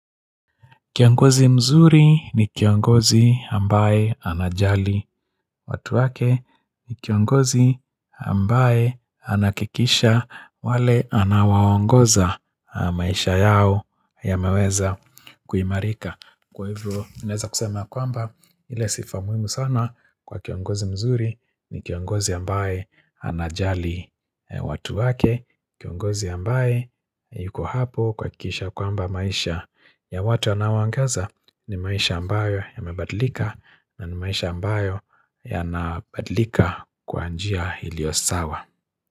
Kiongozi mzuri ni kiongozi ambaye anajali watu wake ni kiongozi ambaye anahakikisha wale anaowaongoza maisha yao yameweza kuimarika. Kwa hivyo, ninaweza kusema kwamba ile sifa muhimu sana kwa kiongozi mzuri ni kiongozi ambaye anajali watu wake, kiongozi ambaye yuko hapo kwa kuhakikisha kwamba maisha. Ya watu anawaangaza ni maisha ambayo yamebadlika na ni maisha ambayo yanabadlika kwa njia ilio sawa.